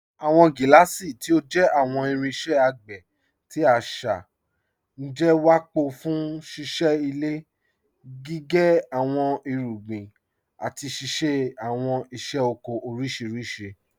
Awọn giláàsí, tí ó jẹ́ awọn irinṣẹ̀ àgbé tí àṣá, jẹ́ wápọ̀ fún síṣẹ ilẹ̀, gígẹ́ awọn irúgbìn, àti ṣíṣẹ̀ awọn iṣẹ̀ ọkọ̀ oríṣiríṣì.